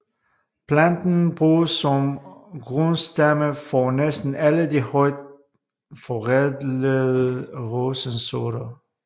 Planten bruges som grundstamme for næsten alle de højt forædlede rosensorter